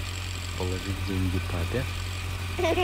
положить деньги папе